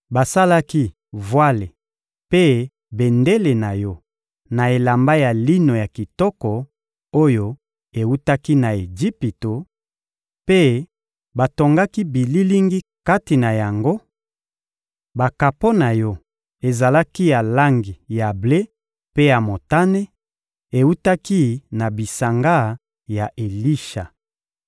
basalaki vwale mpe bendele na yo na elamba ya lino ya kitoko oyo ewutaki na Ejipito, mpe batongaki bililingi kati na yango; bakapo na yo ezalaki ya langi ya ble mpe ya motane, ewutaki na bisanga ya Elisha.